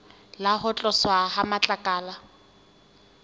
le ho tloswa ha matlakala